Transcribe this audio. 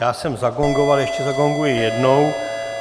Já jsem zagongoval, ještě zagonguji jednou.